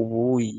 ubuyi.